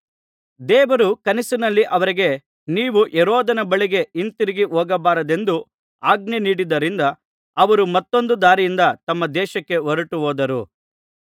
ದೇವರು ಕನಸಿನಲ್ಲಿ ಅವರಿಗೆ ನೀವು ಹೆರೋದನ ಬಳಿಗೆ ಹಿಂದಿರುಗಿ ಹೋಗಬಾರದೆಂದು ಆಜ್ಞೆ ನೀಡಿದ್ದರಿಂದ ಅವರು ಮತ್ತೊಂದು ದಾರಿಯಿಂದ ತಮ್ಮ ದೇಶಕ್ಕೆ ಹೊರಟುಹೋದರು